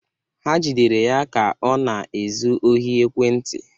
Ha jidere ya ka ọ na-ezu ohi ekwentị.